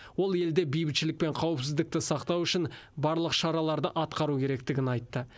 ол елде бейбітшілік пен қауіпсіздікті сақтау үшін барлық шараларды атқару керектігін айтты